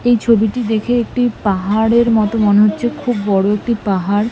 এই ছবিটি দেখে একটি পাহাড়ের মত মনে হচ্ছে। খুব বড় একটি পাহাড়।